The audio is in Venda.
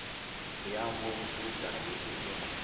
ya ho vhutukani u ḓo